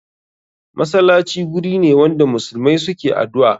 Masalaci gurine wanda muslmai suke adu'a.